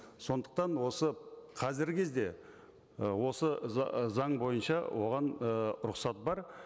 сондықтан осы қазіргі кезде і осы заң бойынша оған ы рұқсат бар